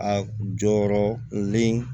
A jɔyɔrɔlen